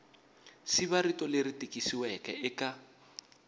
siva rito leri tikisiweke eka